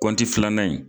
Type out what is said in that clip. Kɔnti filanan in